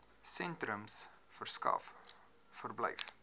sentrums verskaf verblyf